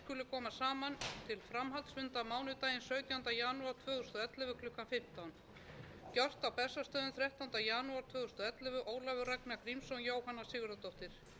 og ellefu ólafur ragnar grímsson jóhanna sigurðardóttir forsetabréf um að alþingi skuli koma saman til framhaldsfunda ég býð hæstvirtan forseta háttvirtir